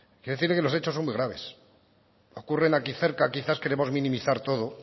quiero decirle que los hechos son muy graves ocurren aquí cerca quizás queremos minimizar todo